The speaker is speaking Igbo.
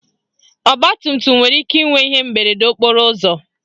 Ọgbatumtum nwere ike inwe ihe mberede okporo ụzọ